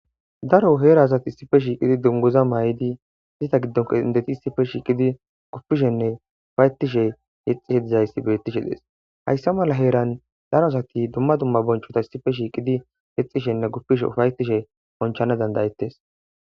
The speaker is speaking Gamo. daro heera asati issife shiiqidi dungoza may7idi izita giddonko indeti issife shiiqidi guppishenne ufayettishe yexishe dizayssi bettishe dees hayssa mala heeran daro asati dumma dumma bonchota issife shiiqidi yexishenne guppishe ufayetishe bonchana dandayettes